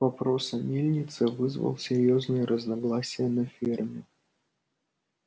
вопрос о мельнице вызвал серьёзные разногласия на ферме